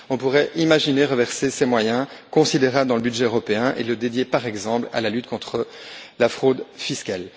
On pourrait imaginer reverser ces moyens considérables dans le budget européen et les dédier, par exemple à la lutte contre la fraude fiscale.